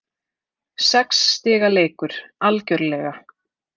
Sex stiga leikur, algjörlega.